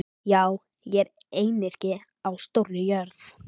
Já, ég er einyrki á stórri jörð.